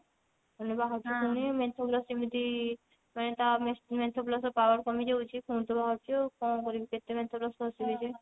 ହେଲେ ବାହାରୁଛି ପୁଣି menthol plus ଯେମିତି ମାନେ ତା menthol plus ର power କମିଯାଉଛି ପୁଣି ତ ବାହାରୁଛି ଆଉ କଣ କରିବି କେତେ menthol plus ଘସିବି ଯେ